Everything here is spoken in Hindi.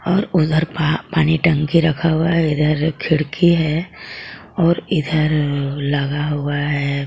और उधर पा-पानी टंकी रखा हुआ है इधर खिड़की है और इधर लगा हुआ है.